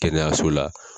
Kɛnɛyaso la